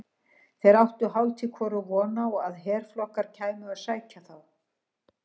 Þeir áttu hálft í hvoru von á að herflokkur kæmi að sækja þá.